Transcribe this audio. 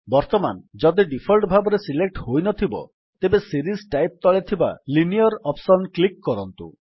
ବର୍ତ୍ତମାନ ଯଦି ଡିଫଲ୍ଟ ଭାବରେ ସିଲେକ୍ଟ ହୋଇନଥିବ ତେବେ ସିରିଜ୍ ଟାଇପ୍ ତଳେ ଥିବା ଲାଇନିୟର ଅପ୍ସନ୍ କ୍ଲିକ୍ କରନ୍ତୁ